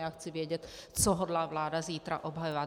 Já chci vědět, co hodlá vláda zítra obhajovat.